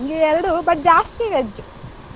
ನಂಗೆ ಎರಡು but ಜಾಸ್ತಿ veg .